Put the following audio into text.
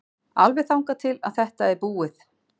Alveg þangað til að þetta er búið.